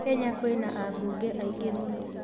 Kenya kwĩna ambunge aingĩ mũno